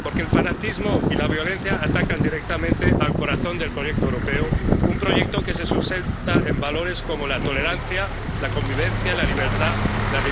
Porque el fanatismo y la violencia atacan directamente al corazón del proyecto europeo, un proyecto que se sustenta en valores como la tolerancia, la convivencia, la libertad, la diversidad o la paz.